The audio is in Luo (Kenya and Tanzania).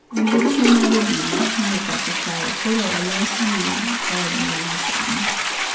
Nyamburko mag obila ma e pacho kae koro olosi gi lony manyasani